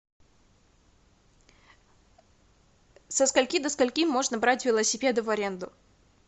со скольки до скольки можно брать велосипеды в аренду